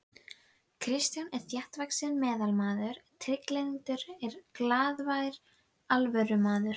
Kristján var þéttvaxinn meðalmaður, trygglyndur og glaðvær alvörumaður.